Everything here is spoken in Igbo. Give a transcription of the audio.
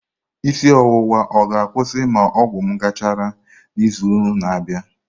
Isi ọwụwa ọ ga-akwụsị ma ọgwụ m gachara n'izu na-abịa?